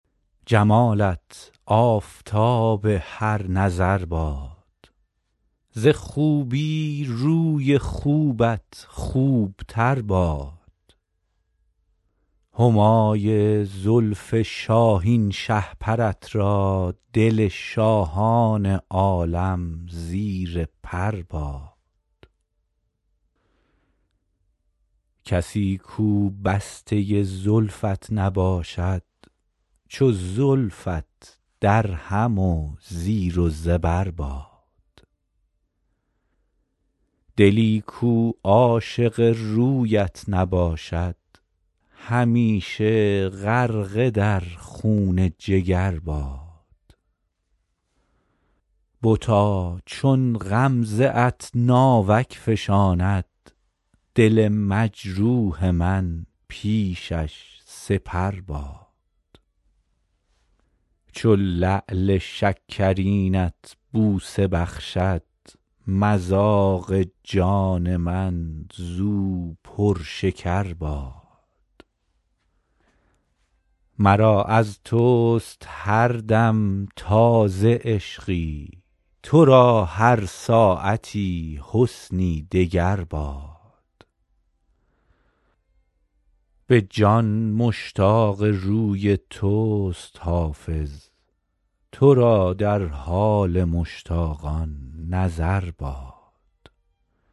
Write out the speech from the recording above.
جمالت آفتاب هر نظر باد ز خوبی روی خوبت خوب تر باد همای زلف شاهین شهپرت را دل شاهان عالم زیر پر باد کسی کو بسته زلفت نباشد چو زلفت درهم و زیر و زبر باد دلی کو عاشق رویت نباشد همیشه غرقه در خون جگر باد بتا چون غمزه ات ناوک فشاند دل مجروح من پیشش سپر باد چو لعل شکرینت بوسه بخشد مذاق جان من زو پرشکر باد مرا از توست هر دم تازه عشقی تو را هر ساعتی حسنی دگر باد به جان مشتاق روی توست حافظ تو را در حال مشتاقان نظر باد